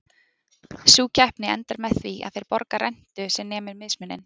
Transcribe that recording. Sú keppni endar með því að þeir borga rentu sem nemur mismuninum.